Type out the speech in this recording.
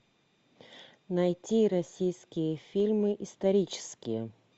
найти российские фильмы исторические